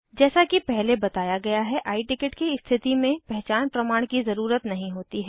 जैसा कि पहले बताया गया है i टिकट की स्थिति में पहचान प्रमाण की ज़रुरत नहीं होती है